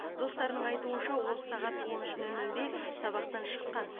достарының айтуынша ол сағат он үш нөл нөлде сабақтан шыққан